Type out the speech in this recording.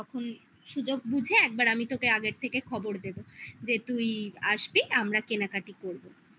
সুযোগ বুঝে একবার আমি তোকে আগের থেকে খবর দেব যে তুই আসবি আমরা কেনাকাটি করবো